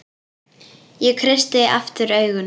Ég kreisti aftur augun.